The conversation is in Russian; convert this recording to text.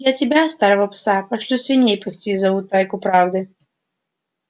я тебя старого пса пошлю свиней пасти за утайку правды